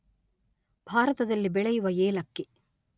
ಭಾರತದಲ್ಲಿ ಬೆಳೆಯುವ ಏಲಕ್ಕಿ